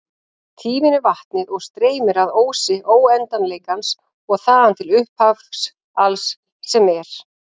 Tíminn er vatnið og streymir að ósi óendanleikans og þaðan til upphafs alls sem er.